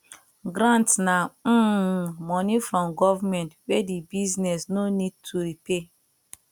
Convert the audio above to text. grants na um money from government wey di business no need to repay